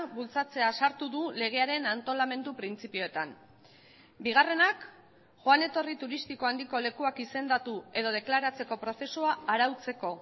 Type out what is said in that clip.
bultzatzea sartu du legearen antolamendu printzipioetan bigarrenak joan etorri turistiko handiko lekuak izendatu edo deklaratzeko prozesua arautzeko